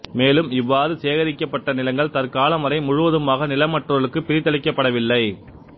மேலும் இவ்வாறு சேகரிக்கப்பட்ட நிலங்கள் தற்காலம் வரை முழுவதுமாக நிலமற்றவர்களுக்கு பிரித்தளிக்கப்படவில்லை